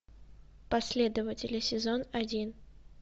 последователи сезон один